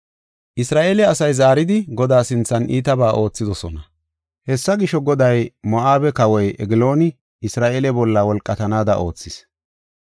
Isra7eele asay zaaridi Godaa sinthan iitabaa oothidosona. Hessa gisho, Goday Moo7abe kawoy Eglooni Isra7eele bolla wolqatanaada oothis.